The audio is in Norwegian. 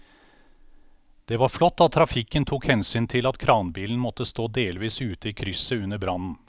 Det var flott at trafikken tok hensyn til at kranbilen måtte stå delvis ute i krysset under brannen.